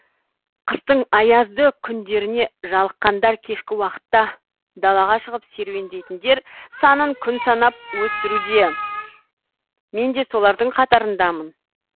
қыстың аязды күндеріне жалыққандар кешкі уақытта далаға шығып серуендейтіндер санын күн санап өсуруде мен де солардың қатарындамын